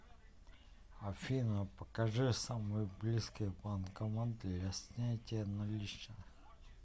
афина покажи самый близкий банкомат для снятия наличных